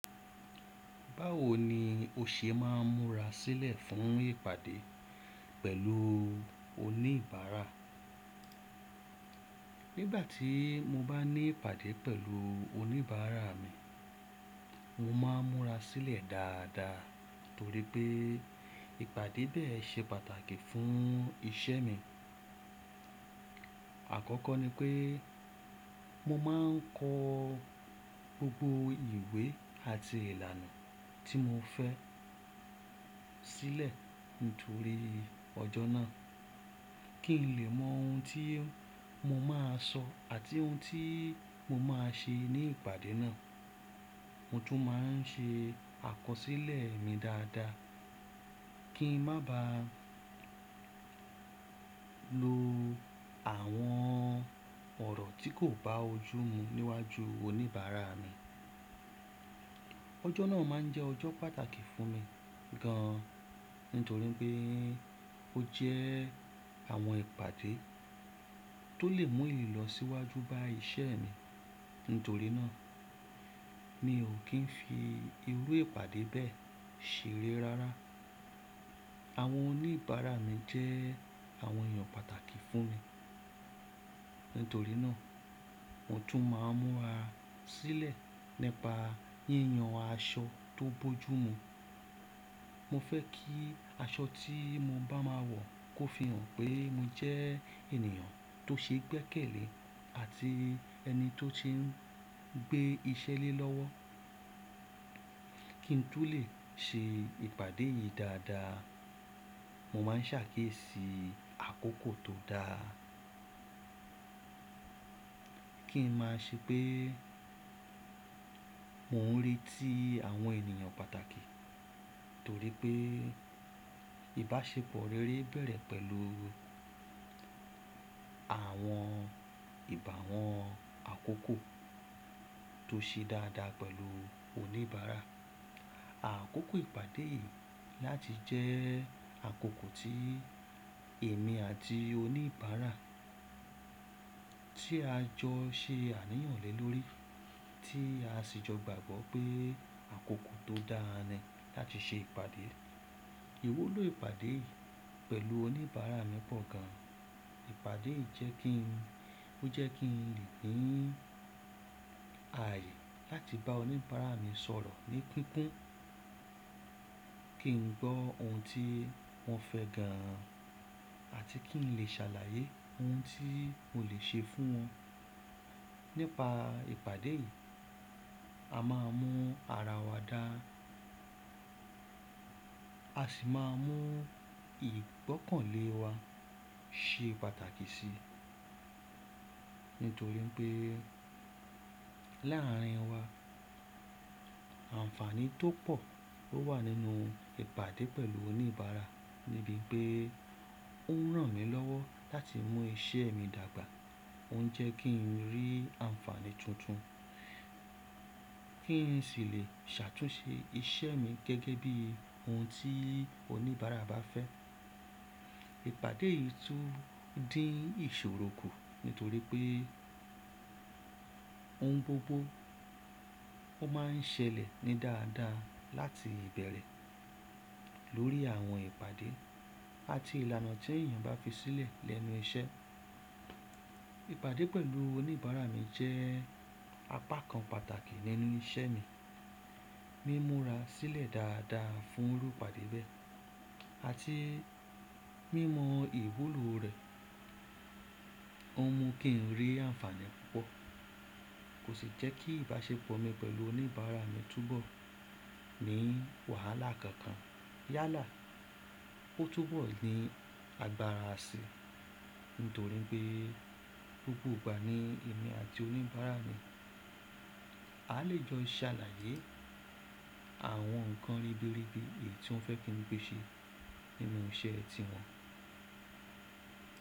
Báwo ni o ṣe máa ń múra sílẹ̀ fún ìpàdé pẹ̀lú oníbàárà? Nígbà tí mo bá ní ìpàdé pẹ̀lú oníbàárà mi, mo máa ń múra sílẹ̀ dáadáa torípẹ́ ìpàdé bẹ́ẹ̀ ṣe pàtàkì fún iṣẹ́ mi. Àkọ́kọ́ ní pé mo máa ń kọ gbogbo ìwé àti ìlànà tí mo fẹ́ sílẹ̀ nítorí ọjọ́ náà kí n lè mọ ohun tí mo máa sọ àti ohun tí mo máa ṣe ní ìpàdé náà. Mo tún máa ń ṣe àkọsílẹ̀ mi dáadáa kí n má ba lo àwọn ọ̀rọ̀ tí kò bá ojú mu níwájú oníbàárà mi. Ọjọ́ náà máa ń jẹ́ ọjọ́ pàtàkì fún mi gan an nítorí pé ó jẹ́ àwọn ìpàdé tó lè mú ilọ síwájú bá iṣẹ́ mi. Nítorí náà mì ò kí n fi irú ìpàdé bẹ́ẹ̀ ṣeré rárá. Àwọn oníbàárà mi jẹ́ àwọn èèyàn pàtàkì fún mi. Nítorí náà mo tún máa ń múra sílẹ̀ nípa yíyan aṣọ tó bojú mu. Mo fẹ́ kí aṣọ tí mo bá máa wọ̀ kó fi hàn pé mi jẹ́ ènìyàn tó ṣe gbẹ́kẹ̀lé àti ẹni tó ti ń gbé iṣẹ́ lé lọ́wọ́. Kí n tún lè ṣe ìpàdé yìí dáadáa, mo máa ń ṣàkíyèsí àkókò tó dáa. Kí n má ṣe pé mo ń retí àwọn ènìyàn pàtàkì torípẹ́ ìbáṣepọ̀ rere bẹ̀rẹ̀ pẹ̀lú àwọn ìbá wọn àkókò tó ṣe dáadáa pẹ̀lú oníbàárà. Àkókò ìpàdé yìí láti jẹ́ àkókò tí èmi àti oníbàárà tí a jọ ṣe àníyànlẹ́ lórí tí a sì jọ gbàgbọ́ pé àkókò tó dáa ni láti ṣe ìpàdé. Iwúlò ìpàdé yìí pẹ̀lú oníbàárà mi pọ̀ gan an. Ìpàdé yìí jẹ́ kí n, ó jẹ́ kí n lè gbin ààyè láti bá oníbàárà mi sọ̀rọ̀ ní pínpín, kí n gbọ́ ohun tí wọ́n fẹ́ gan an àti kí n lè ṣàlàyé ohun tí mo lè ṣe fún wọn. Nípa ìpàdé yìí, a máa mu ara wa dáa, a sì máa mọ ìgbọ́kànlé wa ṣe pàtàkì sí nítorí pé láàárín wa àǹfààní tó pọ̀ ló wà nínú ìpàdé pẹ̀lú oníbàárà níbi pè ó ń ràn mí lọ́wọ́ láti mú iṣẹ́ mi dàgbà. Ó ń jẹ́ kí n rí àǹfààní tuntun, kí n sì lè ṣàtúnṣe iṣẹ́ mi gẹ́gẹ́ bí ohun tí oníbàárà bá fẹ́. Ìpàdé yìí tún dín ìṣòro kù nítorí pé ohun gbogbo ó máa ń ṣẹlẹ̀ ní dáadáa láti ibẹ̀rẹ̀ lórí àwọn ìpàdé àti ìlànà tí èèyàn bá fi sílẹ̀ lẹ́nu iṣẹ́. Ìpàdé pẹ̀lú oníbàárà mi jẹ́ apá kan pàtàkì nínú iṣẹ́ mi. Mí múra sílẹ̀ dáadáa fún irú ìpàdé bẹ́ẹ̀ àti mímọ ìwúlò rẹ̀. Ó mú kí n rí àǹfààní púpọ̀. Kò sì jẹ́ kí ìbáṣepọ̀ mi pẹ̀lú oníbàárà mi túbọ̀ ní wàhálà kankan yálà ó túbọ̀ ní agbára àsè nítorí pé gbogbo ìgbà ní èmi àti oníbàárà mi a lè jọ ṣàlàyé àwọn nǹkan ribiribi èyí tí wọ́n fẹ́ kí pé ṣe nínú iṣẹ́ tiwọn.